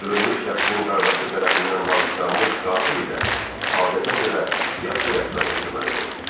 Öldürülmüş şəxsin qardaşı tərəfindən bağışlanmış qatil ilə adətə görə yaxşı rəftar edilməlidir.